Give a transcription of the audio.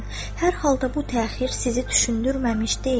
Hər halda bu təxir sizi düşündürməmiş deyil.